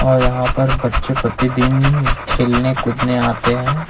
और यहां पर बच्चे प्रतिदिन खेलने कूदने आते हैं।